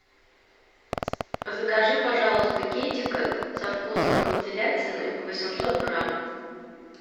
закажи пожалуйста китекат со вкусом телятины восемьсот грамм